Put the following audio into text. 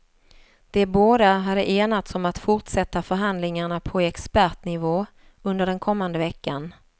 De båda hade enats om att fortsätta förhandlingarna på expertnivå under den kommande veckan.